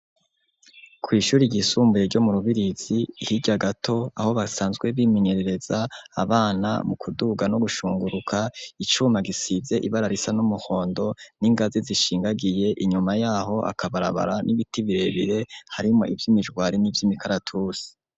Kw' ishuri ryisumbuye ryo mu Rubirizi hirya gato, aho basanzwe bimenyerereza abana mu kuduga n' ugushinguruka, icuma gisize ibara ry' umuhondo, n' ingazi zishingagiye, inyuma yaho, akabarabara n'ibiti birebire harimwo ivy' imijwari n' ivy' imikaratusi.